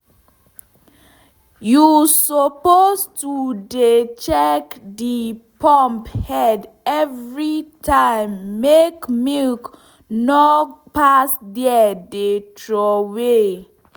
u suppose to dey check de pump head everytime make milk nor pass there dey troway